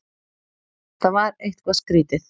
Þetta var eitthvað skrýtið.